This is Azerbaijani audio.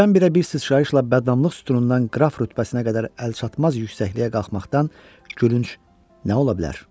Birdən-birə bir sıçrayışla bəddamlıq sütunundan qraf rütbəsinə qədər əlçatmaz yüksəkliyə qalxmaqdan gülünc nə ola bilər?